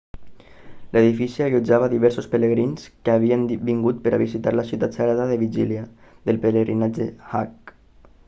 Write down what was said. l'edifici allotjava diversos pelegrins que havien vingut per visitar la ciutat sagrada la vigília del pelegrinatge hajj